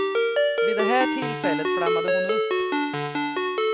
Vid det här tillfället flammade hon upp.